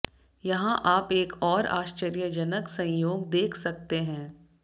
यहां आप एक और आश्चर्यजनक संयोग देख सकते हैं